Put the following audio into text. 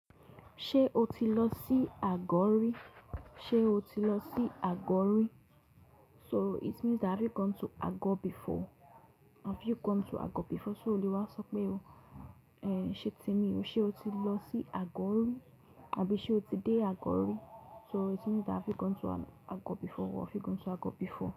Ṣé o ti lọ sí Ago ri? Ṣé o ti lọ sí Ago ri? So it means that have you gone to Ago before? Have you gone to Ago before? So o le wa sọ pé o, eh, ṣe ti mí, ṣe o ti lọ sí Ago ri? Àbí ṣe o ti dé Ago ri? So it means that have you gone to an, Ago before or have you gone to Ago before.